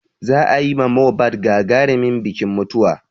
Za a yi ma Mohbad gagarimin bikin mutuwa.